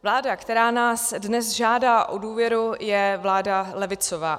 Vláda, která nás dnes žádá o důvěru, je vláda levicová.